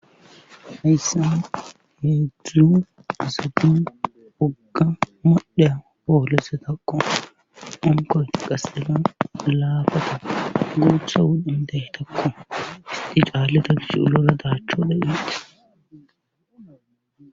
hiyssan hedzdzu asati woga modhobpolisetako, hankoy qaseka laafata guutha wudhandeytakko isti caalleda gish ulora daachchoda getes